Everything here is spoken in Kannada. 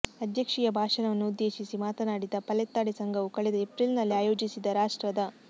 ಅಧ್ಯಕ್ಷೀಯ ಭಾಷಣವನ್ನುದ್ದೇಶಿಸಿ ಮಾತನಾಡಿದ ಪಾಲೆತ್ತಾಡಿ ಸಂಘವು ಕಳೆದ ಎಪ್ರಿಲ್ನಲ್ಲಿ ಆಯೋಜಿಸಿದ್ದ ರಾಷ್ಟ್ರದ